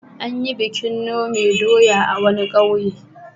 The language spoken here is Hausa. An yi bikin nome doya a wani ƙauye.